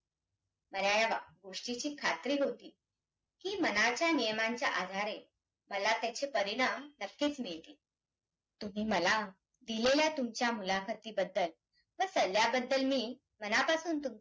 मला या गोष्टींची खात्री होती, की मनाच्या नियमांच्या आधारे मला त्याचे परिणाम नक्कीच मिळतील. तुम्ही मला दिलेल्या तुमच्या मुलाखतीबद्दल व सल्ल्याबद्दल मी मनापासून तुमचा